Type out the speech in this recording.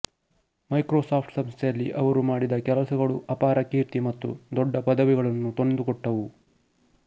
Microsoft ಸಂಸ್ಥೆಯಲ್ಲಿ ಅವರು ಮಾಡಿದ ಕೆಲಸಗಳು ಅಪಾರ ಕೀರ್ತಿ ಮತ್ತು ದೊಡ್ಡ ಪದವಿಗಳನ್ನು ತಂದುಕೊಟ್ಟವು